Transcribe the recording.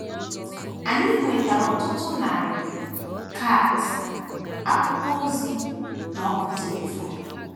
Anyị nwetara ọtụtụ narị kaadị, akwụkwọ ozi, na òkù telifon.